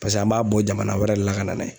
Paseke an b'a bɔ jamana wɛrɛ de la ka na n'a ye.